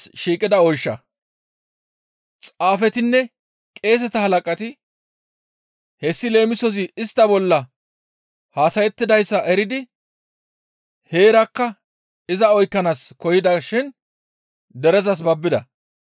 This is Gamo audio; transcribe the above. Xaafetinne qeeseta halaqati hessi leemisozi istta bolla haasayettidayssa eridi heerakka iza oykkanaas koyida shin derezas babbida.